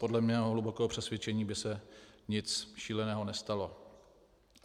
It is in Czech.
Podle mého hlubokého přesvědčení by se nic šíleného nestalo.